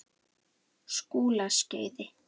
Skúlaskeiði